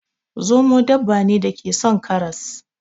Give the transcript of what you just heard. Zomo dabba ne da ke son karas.